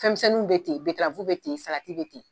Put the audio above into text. Fɛnmisɛniw bɛ ten bɛterafu bɛ ten, salati bɛ ten.